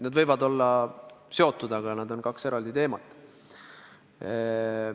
Need võivad olla seotud, aga need on kaks eraldi teemat.